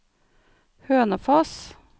Hønefoss